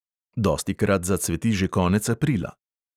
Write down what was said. Dostikrat zacveti že konec aprila.